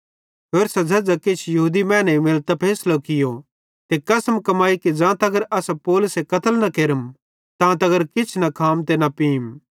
होरसां झ़ेझ़ां किछ यहूदी मैनेईं मिलतां फैसलो कियो ते कसम कमाई कि ज़ां तगर असां पौलुसे कत्ल न केरम तां तगर किछ न खाम ते न पींम